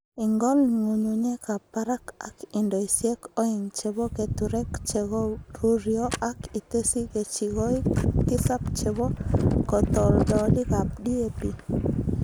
Ing'ol ng'ung'unyekab barak ak indoisiek oeng' chebo keturek chegoruryo ak itesyi kechikoik tisab chebo katoldolikab DAP.